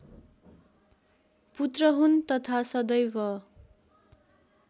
पुत्र हुन् तथा सदैव